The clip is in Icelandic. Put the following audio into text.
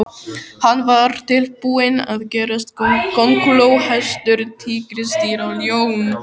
Hann var tilbúinn að gerast kónguló, hestur, tígrisdýr og ljón.